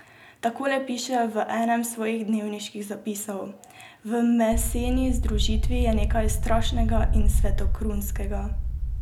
Takole piše v enem svojih dnevniških zapisov: 'V meseni združitvi je nekaj strašnega in svetoskrunskega.